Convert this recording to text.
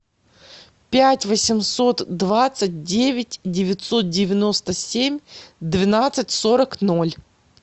пять восемьсот двадцать девять девятьсот девяносто семь двенадцать сорок ноль